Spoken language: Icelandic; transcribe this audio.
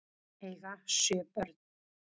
Eiga sjö börn